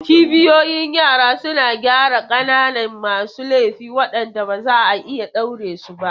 Cibiyoyin yara suna gyara ƙananan masu laifi waɗanda ba za a iya ɗaure su ba.